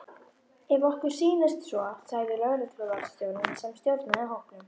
Ef okkur sýnist svo sagði lögregluvarðstjórinn sem stjórnaði hópnum.